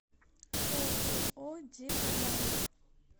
ооо диамант